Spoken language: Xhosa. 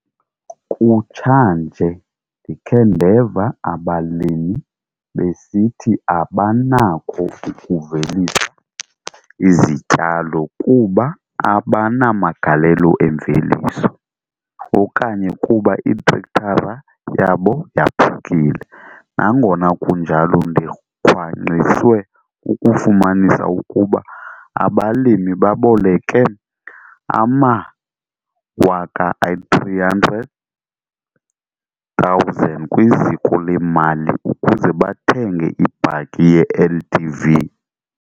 Kutshanje ndikhe ndeva abalimi besithi abanako ukuvelisa izityalo kuba abanamagalelo emveliso, okanye kuba itrektara yabo yaphukile. Nangona kunjalo, ndikhwankqiswe kukufumanisa ukuba aba balimi baboleke ama-R300 000 kwiziko lemali ukuze bathenge ibhaki ye-LDV!